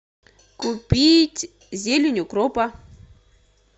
купить зелень укропа